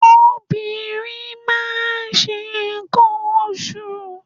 Obìnrin máa ń ṣe nǹkan oṣù.